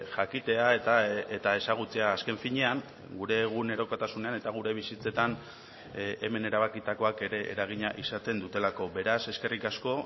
jakitea eta ezagutzea azken finean gure egunerokotasunean eta gure bizitzetan hemen erabakitakoak ere eragina izaten dutelako beraz eskerrik asko